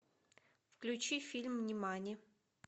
включи фильм нимани